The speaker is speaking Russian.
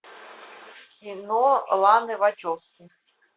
кино ланы вачовски